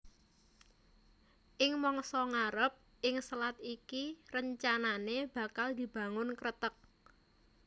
Ing mangsa ngarep ing selat iki rencanané bakal dibangun kreteg